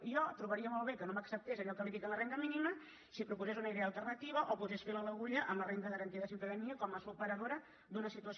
i jo trobaria molt bé que no m’acceptés allò que li dic en la renda mínima si proposés una idea alternativa o posés fil a l’agulla a la renda garantida de ciutadania com a superadora d’una situació